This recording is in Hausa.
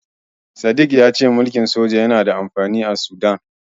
Sadik ya ce mulkin soja yana da amfani a Sudan.